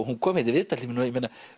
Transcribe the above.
hún kom hérna í viðtal til mín og